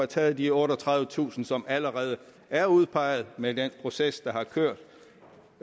taget de otteogtredivetusind som allerede er udpeget med den proces der har kørt